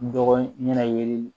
Dɔgɔ ɲɛna yeli